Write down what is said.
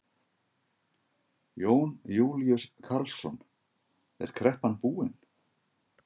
Jón Júlíus Karlsson: Er kreppan búin?